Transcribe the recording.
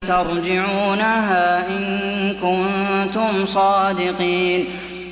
تَرْجِعُونَهَا إِن كُنتُمْ صَادِقِينَ